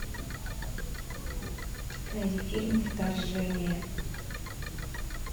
найди фильм вторжение